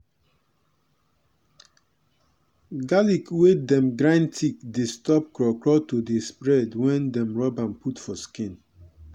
garlic wey dem grind thick dey stop craw craw to dey spread wen dem rub am put for skin.